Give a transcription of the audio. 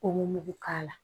Ko mugu mugu k'a la